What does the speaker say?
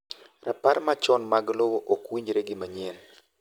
rapar machon mag lowo ok winjre gi manyien